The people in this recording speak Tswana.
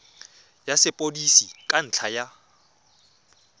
ya sepodisi ka ntlha ya